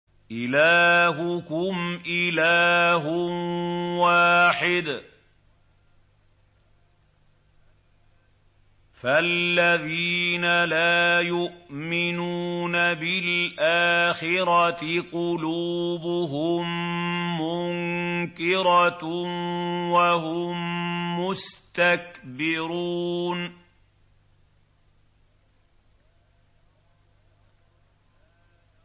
إِلَٰهُكُمْ إِلَٰهٌ وَاحِدٌ ۚ فَالَّذِينَ لَا يُؤْمِنُونَ بِالْآخِرَةِ قُلُوبُهُم مُّنكِرَةٌ وَهُم مُّسْتَكْبِرُونَ